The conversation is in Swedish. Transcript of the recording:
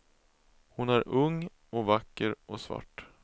Hon är ung och vacker och svart.